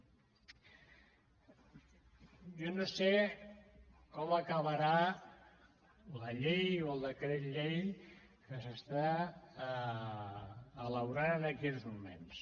jo no sé com acabarà la llei o el decret llei que s’està elaborant en aquests moments